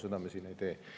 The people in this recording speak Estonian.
Seda meie ei tee.